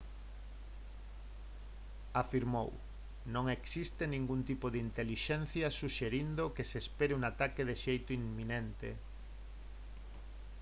afirmou: «non existe ningún tipo de intelixencia suxerindo que se espere un ataque de xeito inminente